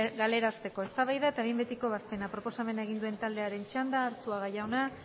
galarazteko eztabaida eta behin betiko ebazpena proposamena egin duen taldearen txanda arzuaga jauna